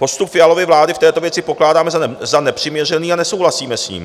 Postup Fialovy vlády v této věci pokládáme za nepřiměřený a nesouhlasíme s ním.